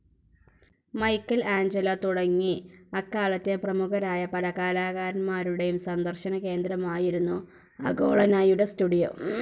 Michael Angelo തുടങ്ങി അക്കാലത്തെ പ്രമുഖരായ പല കലാകാരന്മാരുടെയും സന്ദർശനകേന്ദ്രമായിരുന്നു അഗ്നോളയുടെ സ്റ്റുഡിയോ.